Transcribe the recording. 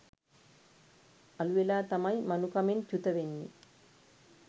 අළුවෙලා තමයි මනුකමෙන් චුතවෙන්නෙ